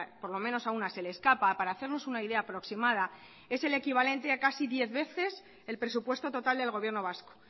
por lo menos a una se le escapa para hacernos una idea aproximada es el equivalente a casi diez veces el presupuesto total del gobierno vasco